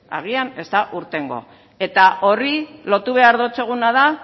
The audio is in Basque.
agian ez da irtengo eta horri lotu behar dotzuguna da